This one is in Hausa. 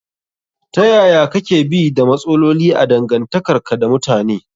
Ta yaya kake bi da matsaloli a dangantakarka da mutane?